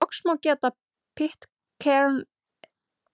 Loks má geta Pitcairn-eyju í Suður-Kyrrahafi.